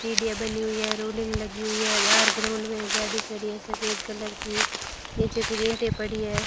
सीढ़ियां बनी हुई है रोलिंग लगी हुई है बाहर ग्राउंड में गाड़ी खड़ी है सफेद कलर की नीचे पर ईंटें पड़ी है।